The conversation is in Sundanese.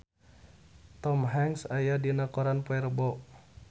Tom Hanks aya dina koran poe Rebo